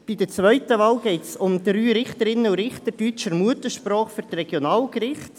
Bei der zweiten Wahl geht es um drei Richterinnen und Richter deutscher Muttersprache für die Regionalgerichte.